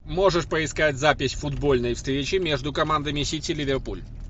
можешь поискать запись футбольной встречи между командами сити ливерпуль